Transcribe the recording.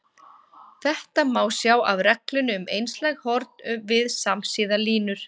Þetta má sjá af reglunni um einslæg horn við samsíða línur.